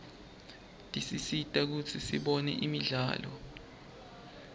tisisita kutsi sibone imidlalo